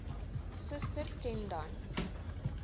suster ken dan